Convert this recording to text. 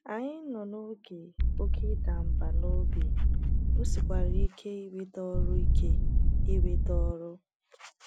Anyị nọ n’oge Oké ịda mba n'ọbi, o sikwara ike inweta ọrụ ike inweta ọrụ.